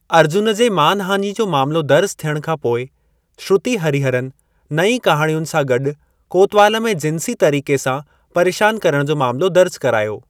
अर्जुन जे मानहाञी जो मामलो दर्जु थियण खां पोइ, श्रुति हरिहरन नईं कहाणियुनि सां गॾु कोतवाल में जिंसी तरीक़े सां परेशान करण जो मामलो दर्ज करायो।